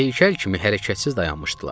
Heykəl kimi hərəkətsiz dayanmışdılar.